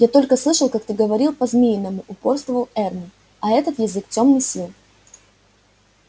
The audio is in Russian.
я только слышал как ты говорил по-змеиному упорствовал эрни а это язык тёмных сил